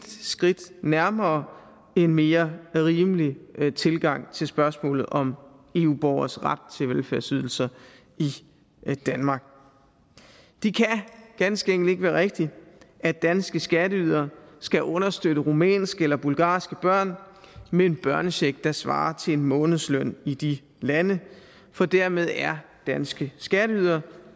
skridt nærmere en mere rimelig tilgang til spørgsmålet om eu borgeres ret til velfærdsydelser i danmark det kan ganske enkelt ikke være rigtigt at danske skatteydere skal understøtte rumænske eller bulgarske børn med en børnecheck der svarer til en månedsløn i de lande for dermed er danske skatteydere